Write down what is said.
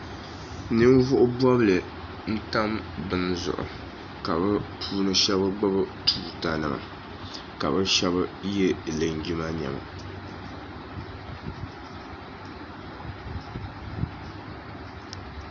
Ninvuɣubobli n tam bini zuɣu ka bi shabagbubi tuuta nima ka bi shaba yɛ lonjima niɛma